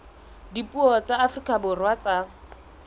dipuo tsa afrika borwa tsa